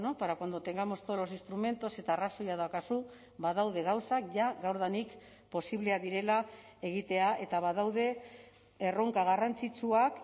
para cuando tengamos todos los instrumentos eta arrazoia daukazu badaude gauzak jada gaurdanik posibleak direla egitea eta badaude erronka garrantzitsuak